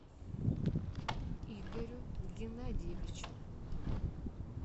игорю геннадьевичу